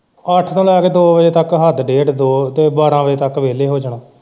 ਅੱਠ ਤੋਂ ਲੈ ਕੇ ਦੋ ਵਜੇ ਤੱਕ ਹੱਦ ਡੇਢ ਦੋ ਤੇ ਬਾਰਾਂਹ ਵਜੇ ਤੱਕ ਵਿਹਲੇ ਹੋ ਜਾਣਾ।